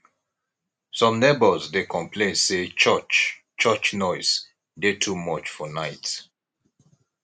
some neighbors dey complain say church church noise dey too much for night